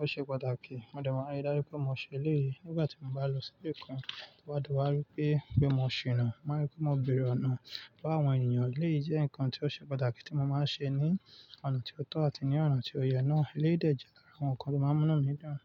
ó ṣe pàtàkì. Mo dẹ̀ ma nri dáju pé mo ṣe lèyí nígbà tí mo bá lọ sí ibì kan tó bádi wá rípé pé mo ṣìnà. Máa rí pé mo bèrè ọ̀nà lọ́wọ́ àwọn ènìyàn elèyí jẹ́ ǹkan tí ó ṣe pàtàkì tí mo máa ń ṣe ní ọ̀nà tí ó tọ́ àti ní ọ̀nà tí ó yẹ náà. Eléyìí dẹ̀ jẹ́ lára àwọn ǹkan tí o máa ń múnú mi dun.